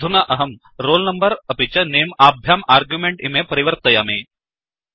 अधुना अहम् roll number अपि च नमे अभ्याम् अर्ग्युमेण्ट् इमे परिवर्तयामि